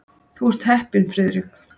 Þú ert heppinn, Friðrik.